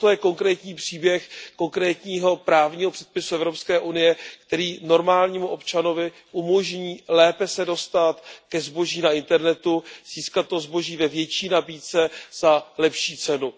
A toto je konkrétní příběh konkrétního právního předpisu Evropské unie, který normálnímu občanovi umožní lépe se dostat ke zboží na internetu, získat to zboží ve větší nabídce a za lepší cenu.